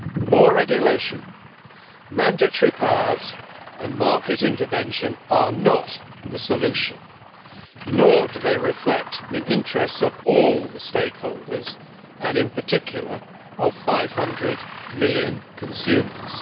More regulation, mandatory powers and market intervention are not the solution, nor do they reflect the interests of all the stakeholders and, in particular, of 500 million consumers.